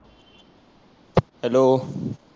hello